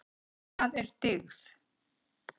Hvað er dygð?